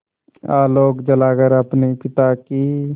आलोक जलाकर अपने पिता की